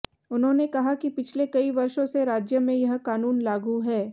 उन्होंने कहा कि पिछले कई वर्षों से राज्य में यह कानून लागू है